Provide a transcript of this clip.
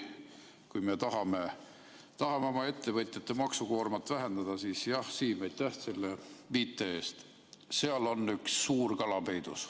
Kui me tahame oma ettevõtjate maksukoormat vähendada, siis jah, Siim, aitäh selle viite eest, seal on üks suur kala peidus.